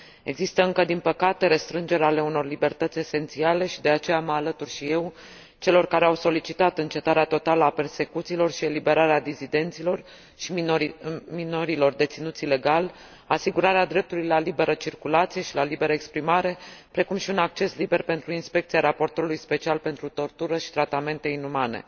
Există încă, din păcate, restrângeri ale unor libertăți esențiale, și, de aceea, mă alătur și eu celor care au solicitat încetarea totală a persecuțiilor și eliberarea dizidenților și a minorilor deținuți ilegal, asigurarea dreptului la liberă circulație și la liberă exprimare, precum și un acces liber pentru inspecția raportorului special pentru tortură și tratamente inumane.